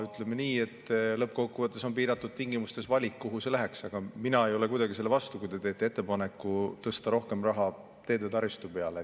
Ütleme nii, et lõppkokkuvõttes on piiratud tingimustes valik, kuhu see läheks, aga mina ei ole kuidagi selle vastu, kui te teete ettepaneku tõsta rohkem raha teede taristu peale.